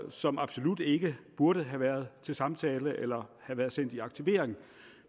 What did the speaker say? som absolut ikke burde have været til samtale eller sendt i aktivering